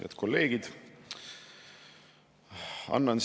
Head kolleegid!